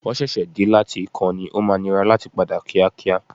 Wọ́n ṣẹ̀ṣẹ̀ dé láti ìkan ní, o máa nira láti padà kíákíá.